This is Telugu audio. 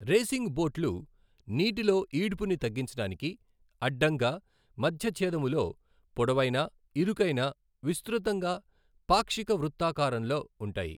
రేసింగ్ బోట్లు నీటిలో ఈడ్పుని తగ్గించడానికి అడ్డంగా మధ్యచ్ఛేదములో పొడవైన, ఇరుకైన, విస్తృతంగా, పాక్షిక వృత్తాకారంలో ఉంటాయి.